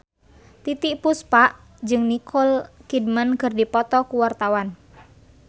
Titiek Puspa jeung Nicole Kidman keur dipoto ku wartawan